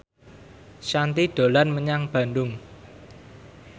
Shanti dolan menyang Bandung